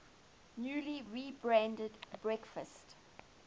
newly rebranded breakfast